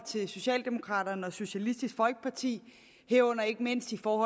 socialdemokraterne og socialistisk folkeparti herunder ikke mindst på